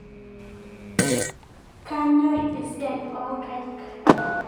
Kanyor esiai oonkaik.